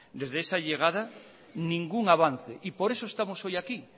desde esa llegada ningún avance y por eso estamos hoy aquí